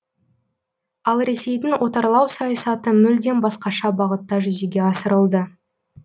ал ресейдің отарлау саясаты мүлдем басқаша бағытта жүзеге асырылды